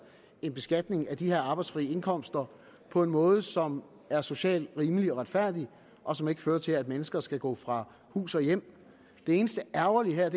en beskatning af de her arbejdsfri indkomster på en måde som er socialt rimelig og retfærdig og som ikke fører til at mennesker skal gå fra hus og hjem det eneste ærgerlige her